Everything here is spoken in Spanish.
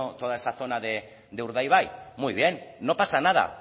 toda esa zona de urdaibai muy bien no pasa nada